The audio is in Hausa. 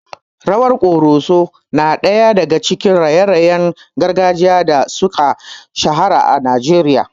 Rawar ƙoroso na daya daga cikin raye-rayen gargajiya da suka shahara a Najeriya.